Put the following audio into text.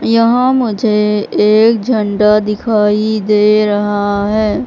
यहां मुझे एक झंडा दिखाई दे रहा है।